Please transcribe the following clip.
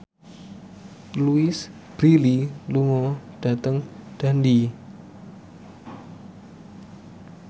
Louise Brealey lunga dhateng Dundee